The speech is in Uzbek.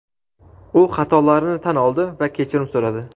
u xatolarini tan oldi va kechirim so‘radi.